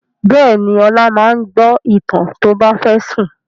Bẹ́ẹ̀ ni, Ọlá máa ń gbọ́ ìtàn tó bá fẹ́ sùn.